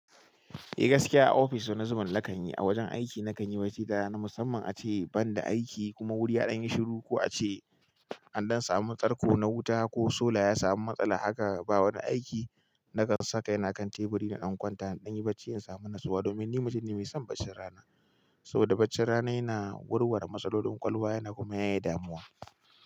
Eh gaskiya a ofis wani zubin na kan yi, a wajen aiki na kan yi wasu hita na musamman ace ban da aiki kuma wuri ya ɗan yi shiru ko ace an ɗan samu tsarko na wuta ko sola ya samu matsala haka ba wani aiki na kan saka yana kan teburi na ɗan kwanta na ɗan yi bacci in samu nasuwa domin ni mijin ne mai son bacci rana. Saboda baccin rana yana warware matsalolin ƙwakwalwa yana kuma yaye damuwa.